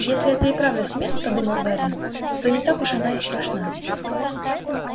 если это и правда смерть подумал гарри то не так уж она и страшна